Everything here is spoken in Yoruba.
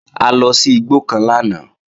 A lọ sí igbó kan lánàá